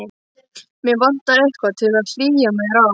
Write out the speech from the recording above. Mig vantar eitthvað til að hlýja mér á.